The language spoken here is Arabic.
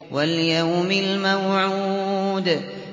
وَالْيَوْمِ الْمَوْعُودِ